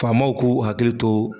Faamaw k'u hakili to.